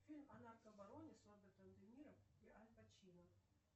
фильм о наркобароне с робертом де ниро и аль пачино